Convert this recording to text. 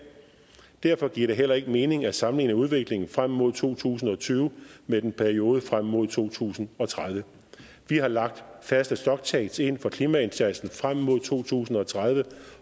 derfor giver det heller ikke mening at sammenligne udviklingen frem mod to tusind og tyve med perioden frem mod to tusind og tredive vi har lagt faste stock takes ind for klimaindsatsen frem mod to tusind og tredive